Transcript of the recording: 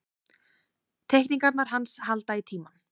Teikningarnar hans halda í tímann.